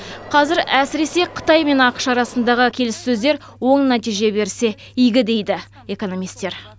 қазір әсіресе қытай мен ақш арасындағы келіссөздер оң нәтиже берсе игі дейді экономистер